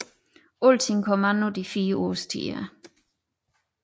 Alting kom an på de fire årstider